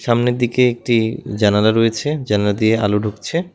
সামনের দিকে একটি জানালা রয়েছে জানলা দিয়ে আলো ঢুকছে।